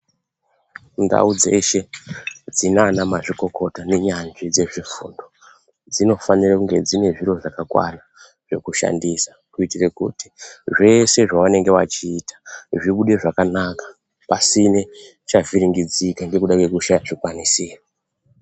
Ndau dzeshe dzinana mazvikokota nenyanzvi dzezvefundo dzinofanira kunge dzine zviro zvakakwana zvekushandisa kuitira kuti zveshe zvavanenge vachiita zvibude zvakanaka pasina chavhiringika ngekuda kwekushaya zvikwanisiro.